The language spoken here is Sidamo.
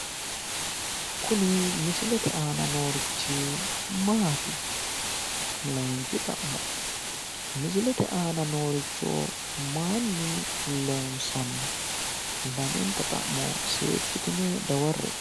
Kuni misilete aana noorichi Maati? Layinki xa'mo misilete aana nooricho mayinni loonsanni? Lamenta xa'mo seekkitine dawarre''e.